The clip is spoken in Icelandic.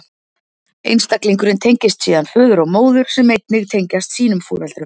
Einstaklingurinn tengist síðan föður og móður, sem einnig tengjast sínum foreldrum.